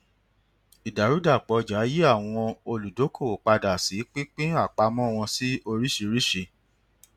ìdàrúdàpọ ọjà yí àwọn olùdókòwò padà sí pípín àpamọ wọn sí oríṣìíríṣìí